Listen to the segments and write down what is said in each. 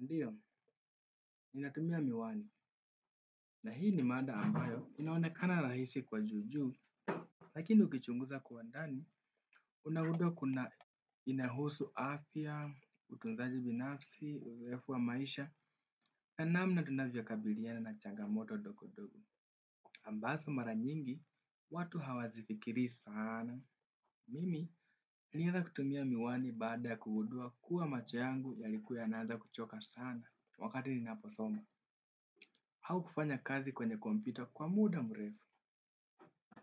Ndiyo, ninatumia miwani na hii ni mada ambayo inaonekana rahisi kwa juujuu, lakini ukichunguza kwa ndani unaunda inahusu afya utunzaji binafsi urefu wa maisha na namna tunavyokabiliana na changamoto ndogondogo ambazo mara nyingi watu hawazifikirii sana. Mimi nilianza kutumia miwani baadaya kugundua kuwa macho yangu yalikuwa anaanza kuchoka sana wakati ni naposoma. Au kufanya kazi kwenye kompyuta kwa muda mrefu.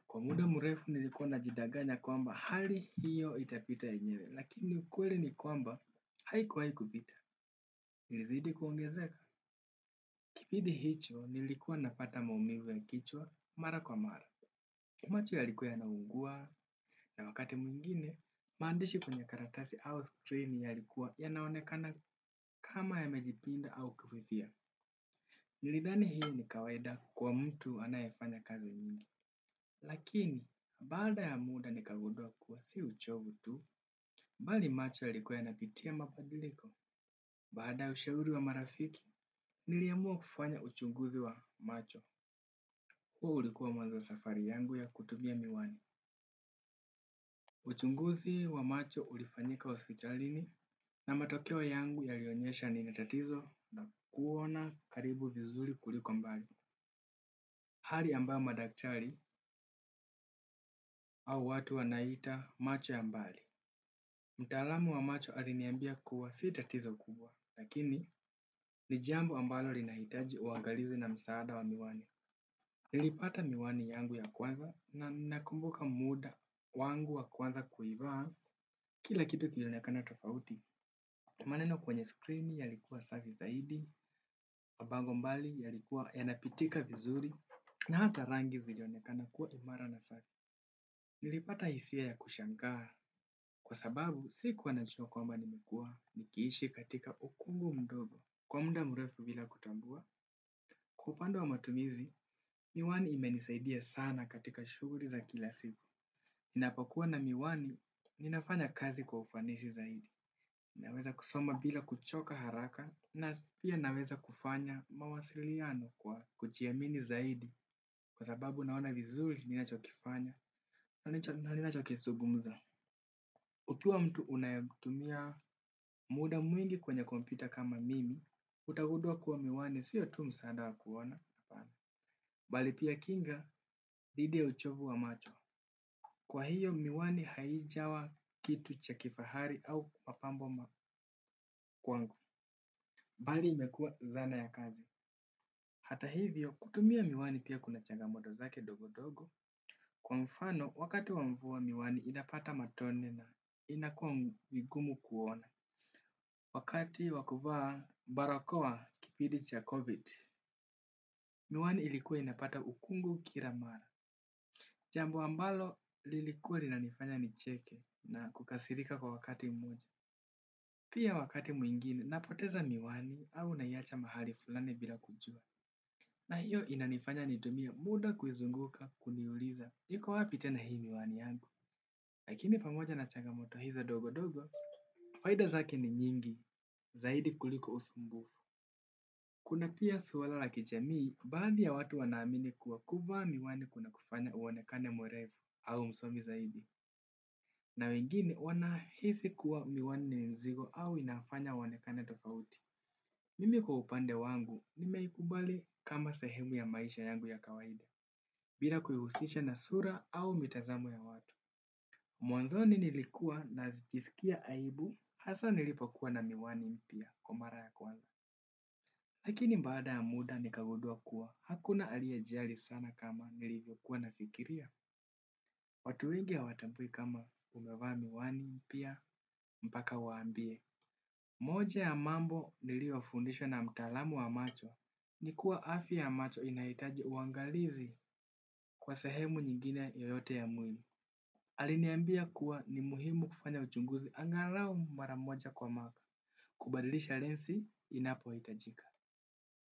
Kwa muda mrefu nilikuwa na jidanganya kwamba hali hiyo itapita ye nyewe. Lakini ukweli ni kwamba haikuwahi kupita ilizidi kuongezeka. Kipindi hicho nilikuwa napata maumivu ya kichwa mara kwa mara. Macho ya likuwa ya naungua na wakati mwingine, maandishi kwenye karatasi au screen ya likuwa ya naonekana kama ya mejipinda au kufifia. Nilidhani hii ni kawaida kwa mtu anayefanya kazi nyingi. Lakini, baada ya muda ni kagundua kuwa si uchovu tu, bali macho ya likuwa ya napitia mabadiliko. Baada ya ushauri wa marafiki, niliamua kufanya uchunguzi wa macho huo ulikuwa mwazowa safari yangu ya kutumia miwani. Uchunguzi wa macho ulifanyika hospitalini na matokeo yangu ya lionyesha ni natatizo la kuona karibu vizuri kuliko mbali. Hali ambayo madaktari au watu wanaiita macho ya mbali. Mtaalamu wa macho aliniambia kuwa si tatizo kubwa lakini ni jambo ambalo linahitaji uangalizi na msaada wa miwani. Nilipata miwani yangu ya kwanza na nakumbuka muda wangu wa kwanza kuivaa kila kitu kilionekana tofauti. Maneno kwenye screen yalikuwa safi zaidi, wabango mbali yalikuwa yanapitika vizuri na hata rangi zilionekana kuwa imara na safi. Nilipata hisia ya kushangaa kwa sababu sikuwa na najua kwamba nimekua nikiishi katika ukungu mdogo. Kwa muda mrefu bila kutambua, kwaupande wa matumizi, miwani ime nisaidia sana katika shughuli za kila siku. Na kwakua na miwani ninafanya kazi kwa ufanisi zaidi. Naweza kusoma bila kuchoka haraka, na pia naweza kufanya mawasiliano kwa kujiamini zaidi. Kwa sababu naona vizuri ninacho kifanya na ninacho kizungumza. Ukiwa mtu unayetumia muda mwingi kwenye kompyuta kama mimi, utagundua kuwa miwani, siyo tu msaada wa kuona. Balipia kinga, dhidiya uchovu wa macho. Kwa hiyo miwani haijawa kitu cha kifahari au mapambo kwangu, bali imekua zana ya kazi. Hata hivyo, kutumia miwani pia kuna changa motozake ndogo ndogo, kwa mfano wakati wamvua miwani inapata matone na inakua vigumu kuona. Wakati wakuvaa barakoa kipindi cha COVID, miwani ilikuwa inapata ukungu kilamara. Jambo ambalo lilikuwa linanifanya nicheke na kukasirika kwa wakati mmoja. Pia wakati mwingine napoteza miwani au naiacha mahali fulani bila kujua. Na hiyo inanifanya nitumie muda kuizunguka kuliuliza. Iko wapi tena hii miwani yangu lakini pamoja na changamoto hizo ndogo ndogo faida zake ni nyingi zaidi kuliko usumbufu. Kuna pia swala la kijamii, baadhi ya watu wanaamini kuwa kuvaa miwani kuna kufanya uonekane mwerevu au msomi zaidi. Na wengine wanahisi kuwa miwani ninzigo au inafanya waonekane tofauti. Mimi kwa upande wangu nimeikubali kama sehemu ya maisha yangu ya kawaida bila kuihusisha na sura au mitazamo ya watu. Mwanzoni nilikua na jisikia aibu, hasa nilipo kuwa na miwani mpya kwamara ya kwanza. Lakini baada ya muda nikagundua kuwa, hakuna aliye jali sana kama nilivyokuwa na fikiria. Watu wengi ha watambui kama umevaa miwani mpya, mpaka uwaambie. Moja ya mambo niliyo fundishwa na mtaalamu wa macho. Nikuwa afya ya macho inahitaji uangalizi kwa sehemu nyingine yoyote ya mwili. Aliniambia kuwa ni muhimu kufanya uchunguzi angalau maramoja kwa mwaka. Kubadilisha lens inapohitajika.